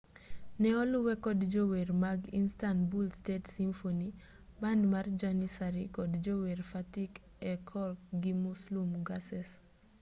ne oluwe kod jower mag istanbul state symphony band mar janissary kod jower fatih erkoc gi muslum gurses